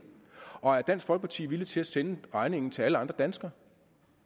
og er dansk folkeparti villig til at sende regningen til alle andre danskere